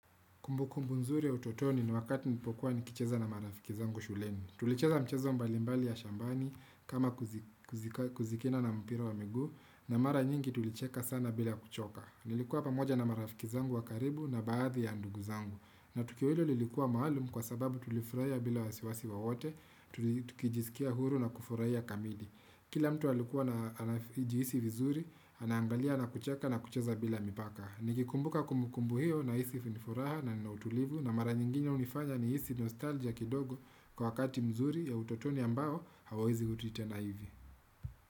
Kumbu kumbu nzuri ya utotoni ni wakati nilipokuwa ni kicheza na marafiki zangu shuleni. Tulicheza mchezo mbalimbali ya shambani kama kuzikina na mpira wa miguu na mara nyingi tulicheka sana bila kuchoka. Nilikuwa pamoja na marafiki zangu wa karibu na baadhi ya ndugu zangu. Na tukio hilo lilikuwa maalum kwa sababu tulifuraia bila wasiwasi wowote, tukijisikia huru na kufuraia kamili. Kila mtu alikuwa anajihisi vizuri, anaangalia na kucheka na kucheza bila mipaka. Nikikumbuka kumukumbu hiyo nahisi fini furaha na ninautulivu na mara nyinginya unifanya nihisi nostalgia kidogo kwa wakati mzuri ya utotoni ambao hauwezi ruti tena hivi.